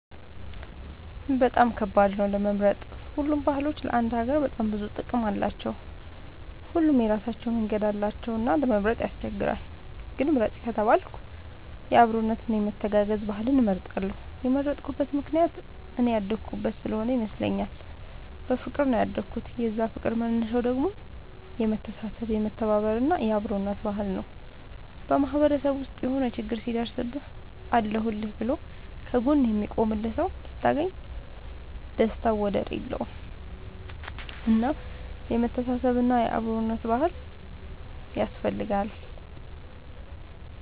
በጣም ከባድ ነው ለመምረጥ ሁሉም ባህሎች ለአንድ ሀገር በጣም ብዙ ጥቅም አላቸው። ሁሉም የራሳቸው መንገድ አላቸው እና ለመምረጥ ያስቸግራል። ግን ምርጥ ከተባልኩ የአብሮነት እና የመተጋገዝ ባህልን እመርጣለሁ የመረጥኩት ምክንያት እኔ ያደኩበት ስሆነ ይመስለኛል። በፍቅር ነው ያደኩት የዛ ፍቅር መነሻው ደግሞ የመተሳሰብ የመተባበር እና የአብሮነት ባህል ነው። በማህበረሰብ ውስጥ የሆነ ችግር ሲደርስብህ አለሁልህ ብሎ ከ ጎንህ የሚቆምልህ ሰው ስታገኝ ደስታው ወደር የለውም። እና የመተሳሰብ እና የአብሮነት ባህል ያስፈልጋል